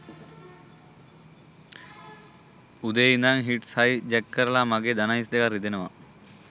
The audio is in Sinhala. උදේ ඉඳන් හිට්ස් හයි ජැක් කරලා මගේ දණහිස් දෙකත් රිදෙනවා